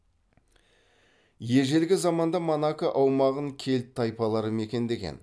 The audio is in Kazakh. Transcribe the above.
ежелгі заманда монако аумағын кельт тайпалары мекендеген